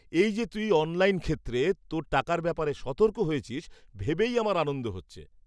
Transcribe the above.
এই যে তুই অনলাইন ক্ষেত্রে তোর টাকার ব্যাপারে সতর্ক হয়েছিস, ভেবেই আমার আনন্দ হচ্ছে।